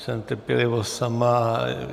Jsem trpělivost sama.